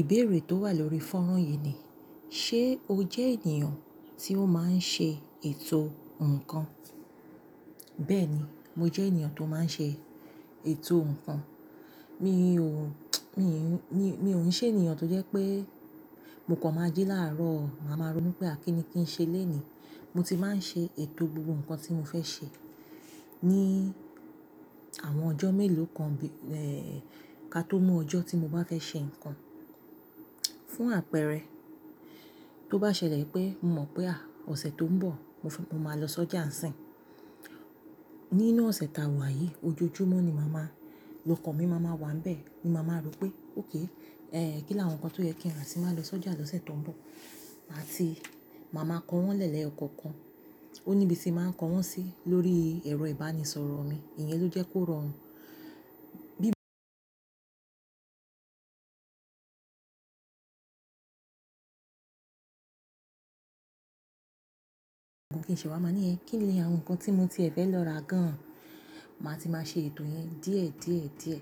Ìbéèrè tó wà lórí fọ́nrán yìí ni, ṣe o jẹ́ ènìyàn tí ó máa ń ṣe ètò ǹkan? Bẹ́ẹ̀ni, mọ jẹ́ ènìyàn tó máa ń ṣe ètò ǹkan. Mi ò, mi, mi, mi ò ń ṣe ènìyàn tó jẹ́ pé mọ kọ̀ máa jí láàárọ̀, màa má ronú pé à kíni kí n ṣe lẹ́ẹ̀ní. Mọ ti máa ń ṣe ètò gbogbo ǹkan tí mo fẹ́ ṣe ní àwọn ọjọ́ mélòó kan bí, eh, ká tó mú ọjọ́ tí mo bá fẹ́ ṣe ǹkan. Fún àpẹẹrẹ, tó bá ṣẹlẹ̀ pé mo mọ̀ pé à, ọ̀sẹ̀ tó ń bọ̀ mọ, mọ máa lọ sọ́jà sìn. Nínú ọ̀sẹ̀ ta wà yìí, ojoojúmọ́ ni màá má lokan mi máa ma wà ńbẹ̀. Ni màá má rò pé, okay, eh, kí ni àwọn ǹkan tó yẹ kí n rà tín má lọ sọ́jà lọ́sẹ̀ tó ń bọ̀? Mà ti, màá ma kọ wọ́n lẹ́yokọ̀ọ̀kan. Ó níbi tí màá ń kọ wọ́n sí lórí ẹ̀rọ ìbánisọ̀rọ̀ mi. Ìyẹn ló jẹ́ kó rọrùn. Kí n ṣẹ wá má ní ẹ, kí ni àwọn ǹkan tí mo tiẹ fẹ́ lọ rà gan an? Màá ti máa ṣe ètò yẹn díẹ̀, díẹ̀, díẹ̀.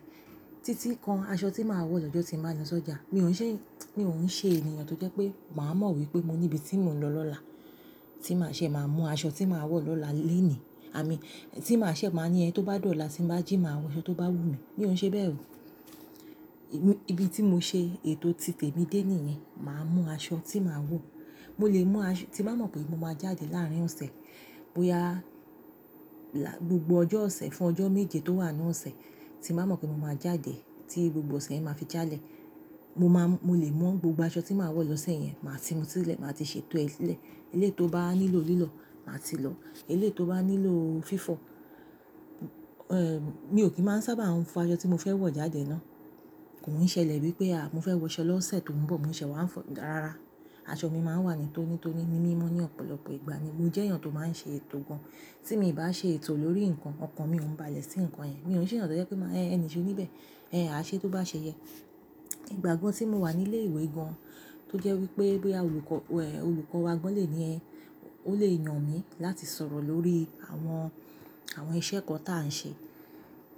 Títí kan aṣọ tí má wọ̀ lọ́jọ́ tí màá lọ sọ́jà. Mi ò ń ṣe, mi ò ń ṣe ènìyàn tó jẹ́ pé màá mọ̀ wípé mo níbi tí mò ń lọ lọ́la tí màá ṣẹ́, màá mú aṣọ tí màá wọ̀ lọ́la lẹ́ẹ̀ní. Àmí, tí màá ṣẹ́, màá ní ẹ tó bá dọ̀la tí ń bá jí máa wọ aṣọ tó bá wù mí. Mi ò ń ṣe bẹ́ẹ̀. Ibi tí mo ṣe ètò títèmi dé níìyẹn. Màá mọ aṣọ tí màá wọ̀. Mọ lè mú aṣọ tí màá mọ̀ pé mọ máa jáde láàárín ọ̀sẹ̀, bóyá gbogbo ọjọ́ ọ̀sẹ̀ fún ọjọ́ méje tó wà nínú ọ̀sẹ̀ tí màá mọ̀ pé mo máa jáde tí gbogbo ọ̀sẹ̀ yẹn máa fí jálẹ̀. Mo máa, mo lè mú gbogbo aṣọ tí màá wọ̀ lọ́sẹ̀ yẹn. Màá ti mú sílẹ̀, màá ti ṣe ètò ẹ̀ sílẹ̀. Eléyìí tó bá nílò lílọ̀, màá ti lọ. Eléyìí tó bá nílọ́ fífọ̀, eh, mi ò kí máa sábà fò aṣọ tí mo fẹ́ wọ̀ jáde náà. Kò ń ṣẹlẹ̀ wípé à, mo fẹ́ wọṣọ lọ́sẹ̀ tó ń bọ̀, mò ń ṣẹ wá fo ko dá rara. Aṣọ mi máa ń wà nítónító ní, ní mimọ́ ní ọ̀pọ̀lọpọ̀ ìgbà ni. Mo jẹ́ èyàn tó máa ń ṣe ètò gan an. Tí mi ì bá ṣe ètò lórí ǹkan kan, ọkàn mi ò ń ba lẹ̀ sí ǹkan yẹn. Mi ò ń ṣe èyàn tó jẹ́ pé ẹle ṣe mí bẹ̀. Eh, àṣẹ tó bá ṣe yẹ. Ìgbà kan tí mo wà nílé ìwé gan an tó jẹ́ wípé, bóyá olùkọ́, olùkọ́ wa gan an lè ní ẹ, ó lè yàn mí láti sọ̀rọ̀ lórí àwọn, àwọn iṣẹ́ kan tà ń ṣe.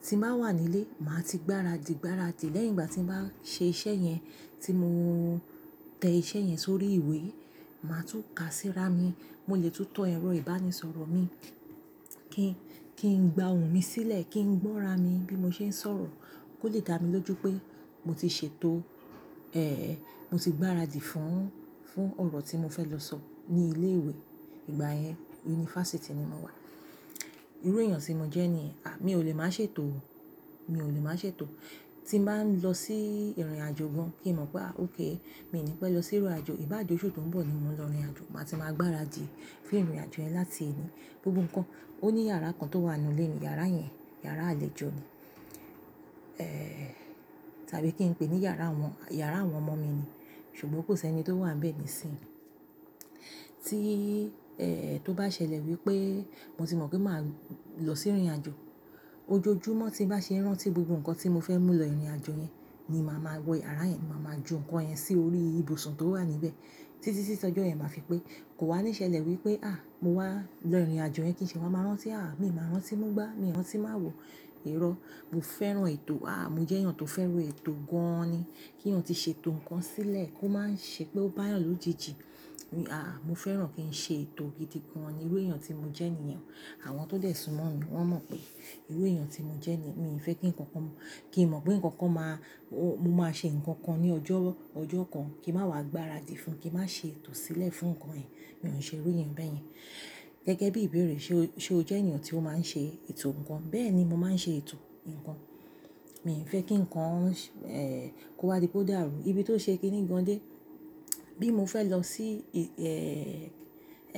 Tí màá wà nílé, màá ti gbáradì, gbáradì lẹ́yìn ìgbà tí màá ṣe iṣẹ́ yẹn, tí mo tẹ iṣẹ́ yẹn sórí ìwé, màá tún ká síra mi. Mo lè tún tọ ẹ̀rọ ìbánisọ̀rọ̀ mi kí n, kí n gba òun mi sílẹ̀, kí n gbọ́ ra mi bí mo ṣe ń sọ̀rọ̀ kó lè dá mi lójú pé mọ ti ṣètò, eh, mo ti gbáradì fún, fún ọ̀rọ̀ tí mo fẹ́ lọ sọ ní ilé ìwé. Ìgbà yẹn yunifásítì ni mo wà. Irú èèyàn tí mo jẹ́ nìyẹn, à, mi ò lè máa ṣe ètò. Mi ò lè máa ṣe ètò. Tí n bá lọ sí ìrìn àjò gan an kí n mọ̀ pé à, ókay, mi ò ní pé lọ sí ìrìn àjò. Ibaje oṣù tó ń bọ̀ ni mò ń lọ ìrìnàjò. Màá ti máa gbáradì fún ìrìn àjò yẹn láti èní. Gbogbo ǹkan. Ó ní yàrá kan tó wà nínú ilé mi. Yàrá yẹn yàrá àlejò ni. Eh, tàbí kí n pè é ní yàrá àwọn, yàrá àwọn ọmọ mi ni. Ṣùgbọ́n kò sí ẹni tó wà ńbẹ̀ nísìnyí. Tí, eh, tó bá ṣẹlẹ̀ wípé mo ti mọ̀ pé màá lọ sí ìrìn àjò, ojoojúmọ́ tí nbá ṣe rántí gbogbo ǹkan tí mo fẹ́ mú lọ ìrìnàjò yẹn ni màá máa wẹ yàrá yẹn. Màá ma ju ǹkan yẹn sí orí ibùsùn tó wà níbẹ̀. Títí tí tojọ́ yẹn màá fi pé. Kò wá níṣẹ́lẹ̀ wípé à, mo wá lọ ìrìn àjò yẹn, kí n ṣe wá máa rántí, à, mi ò máa rántí mú gbá, mi ò rántí má awọ ìrọ̀. Mo fẹ́ràn ètò. À, mo jẹ́ èyàn tó fẹ́ràn ètò gan an ni. Kí n ti ṣe ètò ǹkan sílẹ̀ kó má ń ṣe pé ó bá èyàn lójijì. Mi, à, mo fẹ́ràn kí n ṣe ètò gidi gan an ni. Irú èèyàn tí mo jẹ́ niyẹn. Àwọn tó dẹ̀ sumọ́ mi, wọ́n mọ̀ pé irú èèyàn tí mo jẹ́ ni. Mi ò fẹ́ kí ǹkan kan, kí n mọ̀ pé ǹkan kan máa, mo mo máa ṣe ǹkan kan ní ọjọ́, ọjọ́ kan kí n má wá gbáradì fún, kí n má ṣe ètò sílẹ̀ fún ǹkan ìyẹn. Mi ò ń ṣe irú èèyàn bẹ́ẹ̀ yẹn. Gẹ́gẹ́ bí ìbéèrè ṣe, ṣe o jẹ́ èyàn tí ó máa ń ṣe ètò ǹkan? Bẹ́ẹ̀ni, mo máa ń ṣe ètò ǹkan. Mi nfẹ́ kí ǹkan, eh, kó wá di pé o dàrú. Ibi tó ṣe kíni gan an dé, bí mo fẹ́ lọ sí, eh,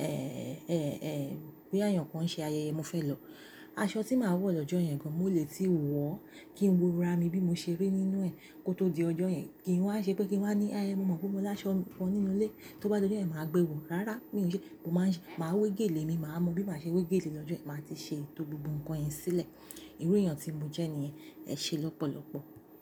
eh, eh, eh, bóyá eyàn kan ṣe ayẹyẹ, mo fẹ́ lọ. Aṣọ tí màá wọ̀ lọ́jọ́ yẹn gan an, mo lè tí wọ̀ ó kí n wo ra mi bí mo ṣe rí nínú ẹ̀ kó tó di ọjọ́ yẹn. Kìí wá ṣe pé kí n wá ní, "Eeh, mọ mọ̀ pé mọ láṣọ kàn nínú ilé." Tó bá di ọjọ́ yẹn, màá gbẹ wò. Rárá, mi ò ṣe. Mo máa ń, màá wé gèlè mi, màá mọ̀ bí màá ṣe wé gèlè lọ́jọ́ yẹn. Màá ti ṣe ètò gbogbo ǹkan yẹn sílẹ̀. Irú èèyàn tí mo jẹ́ ni. Ẹ ṣe lọ́pọ̀lọpọ̀.